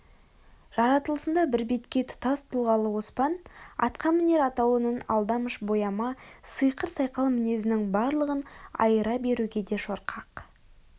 жаратылысында бірбеткей тұтас тұлғалы оспан атқамінер атаулының алдамыш бояма сиқыр-сайқал мінезінің барлығын айыра беруге де шорқақ